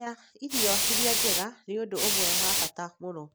Kũrĩa irio iria njega nĩ ũndũ ũmwe wa bata mũno;